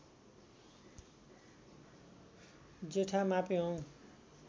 जेठा मापेहोङ